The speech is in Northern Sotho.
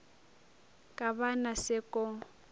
ka ba na se ko